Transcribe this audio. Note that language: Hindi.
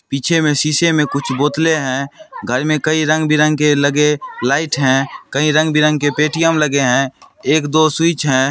पीछे में शीशे में कुछ बोतले हैं घर में कई रंग-बिरंगे लगे लाइट हैं कई रंग-बिरंगे पे_टी_एम लगे है एक दो स्विच है।